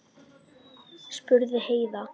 spurði Heiða.